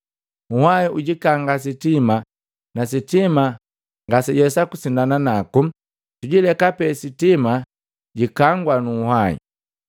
Nhwahi ulikanga sitima na sitima ngaselawesa kusindana naku, tuuleka pe sitima litutuliwa nu uhwahi.